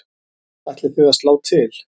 Ætlið þið að slá til?